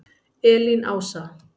Elín Ása.